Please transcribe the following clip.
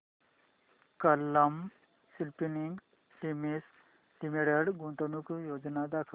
Kalam Spinning Mills Limited गुंतवणूक योजना दाखव